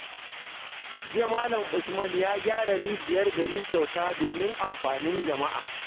Jiya Malam Usman ya gyara rijiyar gari kyauta domin amfanin jama’a.